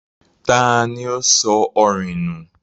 tani ó sọ orìn nù?